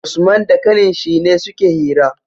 Usman da ƙanin shi ne suke hira